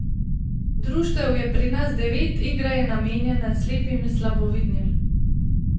Društev je pri nas devet, igra je namenjena slepim in slabovidnim.